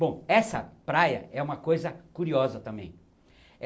Bom, essa praia é uma coisa curiosa também.